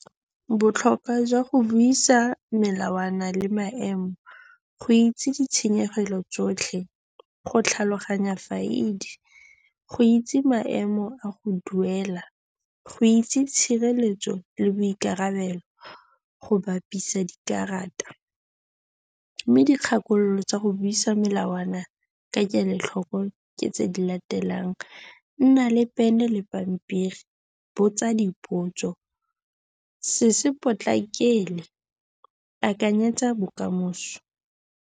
Botlhokwa jwa go buisa melawana le maemo, go itse ditshenyegelo tsotlhe, go tlhaloganya faidi, go itse maemo a go duela, go itse tshireletso le boikarabelo, go bapisa dikarata. Mme dikgakololo tsa go buisa melawana ka kelotlhoko ke tse di latelang, nna le pene le pampiri, botsa dipotso, se se potlakele, akanyetsa bokamoso.